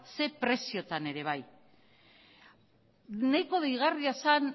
ze prezioetan ere bai nahiko deigarria zen